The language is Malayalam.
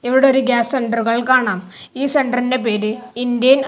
ഇവിടെ ഒരു ഗ്യാസ് സെന്ററുകൾ കാണാം ഈ സെന്ററിന്റെ പേര് ഇന്ത്യൻ--